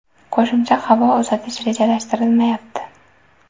Qo‘shimcha havo uzatish rejalashtirilmayapti.